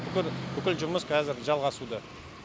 бүкіл бүкіл жұмыс қазір жалғасуда